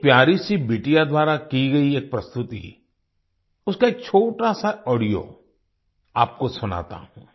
एक प्यारी सी बिटिया द्वारा की गई एक प्रस्तुति उसका एक छोटा सा ऑडियो आपको सुनाता हूँ